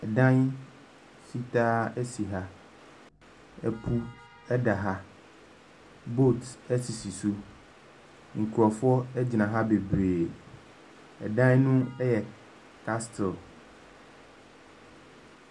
Dan fitaa si ha. Ɛpo da ha. Boat sisi so. Nkurɔfoɔ gyina ha bebree. Ɛdan no yɛ castle.